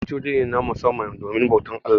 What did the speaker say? Masallaci waje ne, na musamman domin bautar Allah.